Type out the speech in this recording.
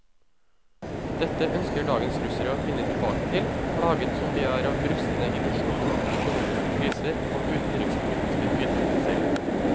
Dette ønsker dagens russere å finne tilbake til, plaget som de er av brustne illusjoner, økonomiske kriser og utenrikspolitiske ydmykelser.